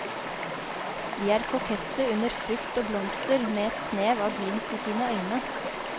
De er kokette under frukt og blomster, med et snev av glimt i sine øyne.